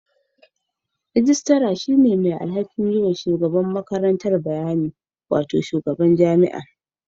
Mai rejista yana da alhakin kula da shugaban makarantar; mataimakin shugaban gwamnati.